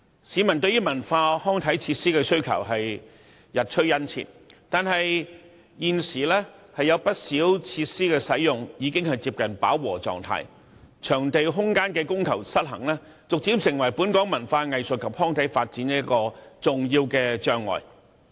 市民對於文化、康體設施的需求日趨殷切，但現時有不少設施的使用量已接近飽和狀態，場地空間的供求失衡，逐漸成為本港文化藝術及康體發展的一大障礙。